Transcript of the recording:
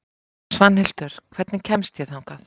Svanhildur, hvernig kemst ég þangað?